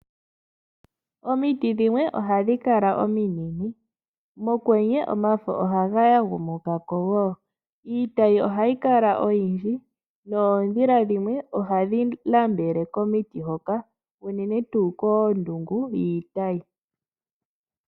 Omiiti dhimwe ohadhi kala omiinene, mokwenye omafo ohaga ya gumuka ko. Iitayi ohayi kala oyindji noondhila dhimwe ohadhi nambele komiiti hoka unene tuu koondungu yiitayi.